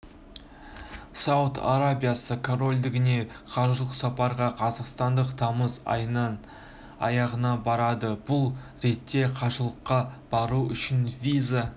сауд арабиясы корольдігіне қажылық сапарға қазақстандықтар тамыз айының аяғында барады бұл ретте қажылыққа бару үшін виза